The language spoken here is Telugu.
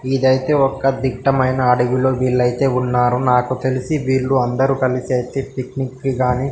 ఇదయితే ఒక దిట్టమయిన అడవిలో వీళ్లయితే ఉన్నారు నాకు తెలిసి వీళ్ళు అందరు కలసి అయితే పిక్నిక్ కి కానీ --